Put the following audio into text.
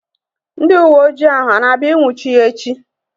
Ndị uwe ojii ahu a na-abịa ị nnwuchi ya echi?